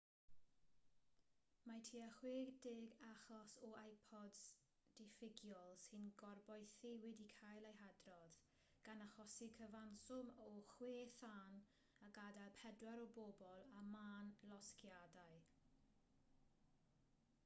mae tua 60 achos o ipods diffygiol sy'n gorboethi wedi cael eu hadrodd gan achosi cyfanswm o chwe thân a gadael pedwar o bobl a mân losgiadau